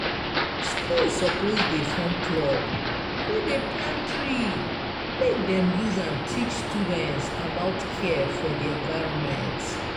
School suppose dey form club wey dey plant tree make dem use am teach students about care for di environment.